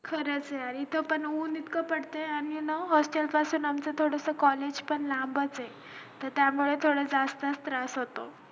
खरंच यार इथे पण ऊन इतकं पडत आणि ना hostel collage पण लांबच त्या मुळे थोडा जास्तच त्रास होतो